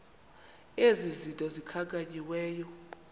ezi zinto zikhankanyiweyo